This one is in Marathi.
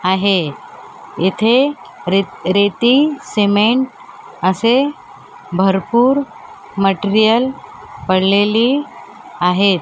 आहे इथे रेत रेती सिमेंट असे भरपूर मटेरियल पडलेली आहे.